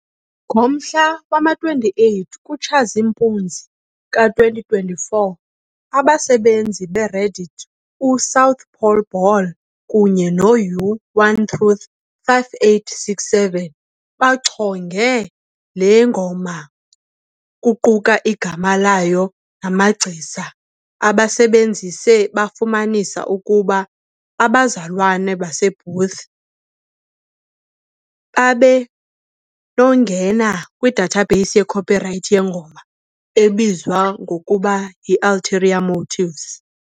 Ngomhla wama-28 kuTshazimpuzi ka-2024, abasebenzisi beReddit u-south_pole_ball kunye ne-u-One-Truth-5867 bachonge le ngoma, kuquka igama layo namagcisa. Abasebenzisi bafumanisa ukuba abazalwana baseBooth babenongena kwi-database ye-copyright yengoma ebizwa ngokuba yi "Ulterior Motives".